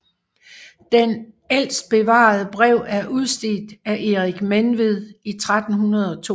Det ældste bevarede brev er udstedt af Erik Menved i 1302